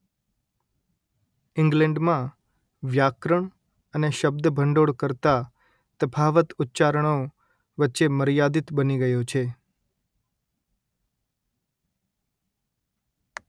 ઇંગ્લેન્ડમાં વ્યાકરણ અને શબ્દભંડોળ કરતા તફાવત ઉચ્ચારણો વચ્ચે મર્યાદિત બની ગયો છે